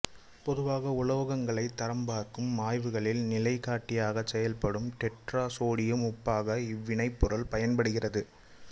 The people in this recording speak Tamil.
பொதுவாக உலோகங்களை தரம்பார்க்கும் ஆய்வுகளில் நிலைகாட்டியாகச் செயல்படும் டெட்ராசோடியம் உப்பாக இவ்வினைப்பொருள் பயன்படுகிறது